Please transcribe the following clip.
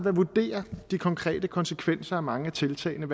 at vurdere de konkrete konsekvenser af mange af tiltagene